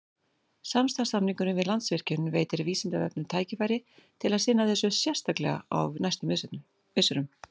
Samstarfssamningurinn við Landsvirkjun veitir Vísindavefnum tækifæri til að sinna þessu sérstaklega á næstu misserum.